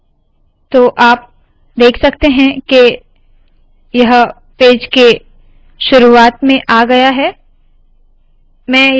तो आप देख सकते है के यह पेज के शुरुवात में आ गया है